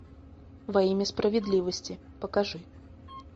во имя справедливости покажи